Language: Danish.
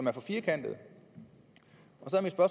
er for firkantet